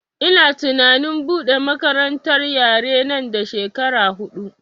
Ina tunanin buɗe makarantar yare nan da shekara huɗu